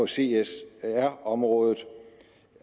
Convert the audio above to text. csr området